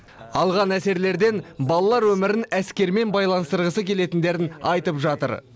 алған әсерлерден балалар өмірін әскермен байланыстырғысы келетіндерін айтып жатыр